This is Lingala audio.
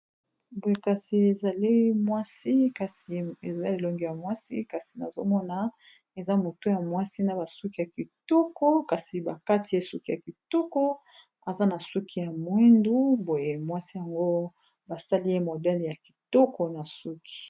Boye kasi ezali mwasi kasi eza elongi ya mwasi kasi nazomona eza motu ya mwasi na basuki ya kitoko kasi bakati ye suki ya kitoko aza na suki ya mwindu boye mwasi yango basali ye modele ya kitoko na suki.